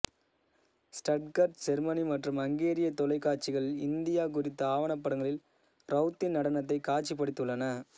Stuttgart Germany மற்றும் அங்கேரிய தொலைக்காட்சிகள் இந்தியா குறித்த ஆவணப்படங்களில் ரவுத்தின் நடனத்தை காட்சிப்படுத்தியுள்ளன